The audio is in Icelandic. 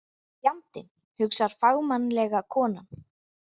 Fjandinn, hugsar fagmannlega konan.